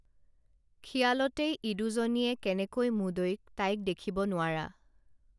খিয়ালতেই ইদুজনীয়ে কেনেকৈ মুদৈক তাইক দেখিব নোৱাৰা